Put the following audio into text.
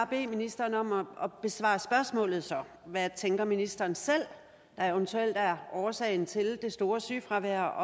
bede ministeren om at besvare spørgsmålet så hvad tænker ministeren selv eventuelt er årsagen til det store sygefravær og